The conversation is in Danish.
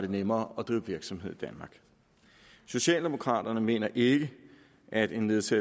det nemmere at drive virksomhed i danmark socialdemokraterne mener ikke at en lettelse